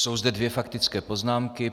Jsou zde dvě faktické poznámky.